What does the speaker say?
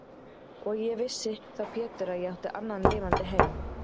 Og ég vissi þá Pétur að ég átti annan lifandi heim.